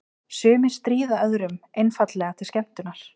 Sumir stríða öðrum einfaldlega til skemmtunar.